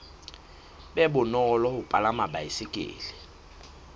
be bonolo ho palama baesekele